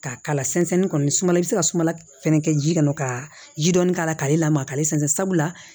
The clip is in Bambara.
K'a k'ala sɛnsɛn kɔni sumalen i bɛ se ka sumala fɛnɛ kɛ ji kɔnɔ ka ji dɔɔni k'a la k'ale lamaga k'ale sɛnsɛn sabula